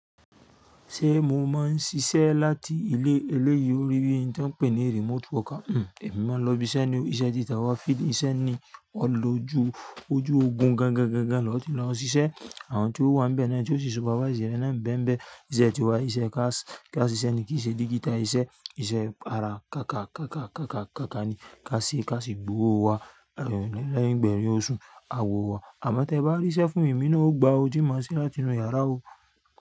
Ṣé mo máa ń ṣiṣẹ́ láti ilé? Eléyìí ò rí bí i tó ń pè ni remote worker. Hmm, èmi máa ń lọ ibi iṣẹ́ ni, iṣẹ́ tí ta wá field, iṣẹ́ ni ó lọ ju ojú ogun gan gan gan gan, lọ́ ti lọ ṣiṣẹ́. Àwọn tí ó wà níbẹ̀ náà tí ó ṣe supervise ẹ́ rẹ náà ń bẹmbẹ iṣẹ́ tiwa, iṣẹ́ káṣì, káṣì iṣẹ́ ni kì í ṣe digital iṣẹ́, iṣẹ́ ara ká kà, ká kà, ká kà, ká kà ni. Ká sì, ká sì gbówó wá, lẹ́yìn gbẹ̀yìn ó sú a wó wá. Àmọ́ tí ẹ bá rí ṣẹ́ fún mi èmi náà ó gba ọ, tí mo ṣe láti inú yàrá o.